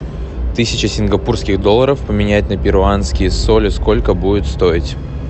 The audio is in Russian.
тысяча сингапурских долларов поменять на перуанские соли сколько будет стоить